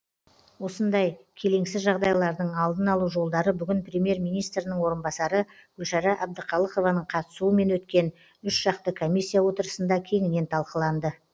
осындай келеңсіз жағдайлардың алдын алу жолдары бүгін премьер министрінің орынбасары гүлшара әбдіқалықованың қатысуымен өткен үшжақты комиссия отырысында кеңінен талқыланды